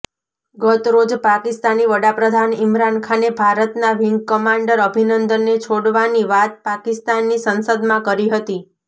ગતરોજ પાકિસ્તાની વડાપ્રધાન ઇમરાન ખાને ભારતના વિંગ કમાન્ડર અભિનંદનને છોડવાની વાત પાકિસ્તાનની સંસદમાં કરી હતી